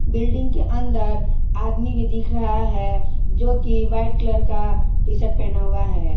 Building के अंदर आदमी भी दिख रहा है जो की वाइट कलर का टीशर्ट पहना हुआ है।